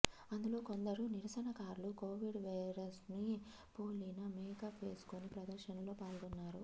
అందులో కొందరు నిరసనకారులు కొవిడ్ వైరస్ను పోలిన మేకప్ వేసుకొని ప్రదర్శనలో పాల్గొన్నారు